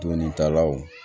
Donitalaw